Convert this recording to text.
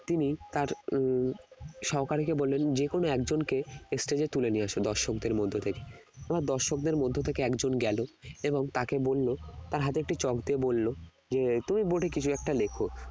তিনি তার উম সহকারীকে বললেন যে কোন একজনকে stage তুলে নিয়ে আসো দর্শকদের মধ্য থেকে ওনার দর্শকদের মধ্য থেকে একজন গেল এবং তাকে বললো তার হাতে একটি চক দিয়ে বললো যে তুমি board এ কিছু একটা লেখ